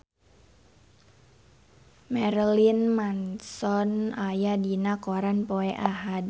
Marilyn Manson aya dina koran poe Ahad